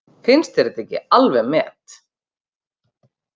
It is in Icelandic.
Finnst þér þetta ekki alveg met!